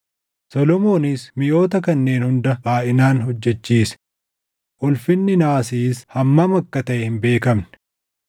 Solomoonis miʼoota kanneen hunda baayʼinaan hojjechiise; ulfinni naasiis hammam akka taʼe hin beekamne.